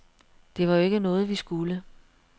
Det var jo ikke noget, vi skulle.